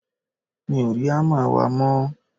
mi ò rí hámà wa mọ́